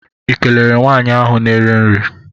ị kelere nwaanyị ahụ na-ere nri?